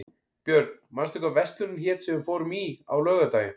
Björn, manstu hvað verslunin hét sem við fórum í á laugardaginn?